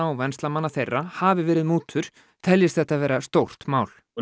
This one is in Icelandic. og venslamanna þeirra hafi verið mútur teljist þetta vera stórt mál og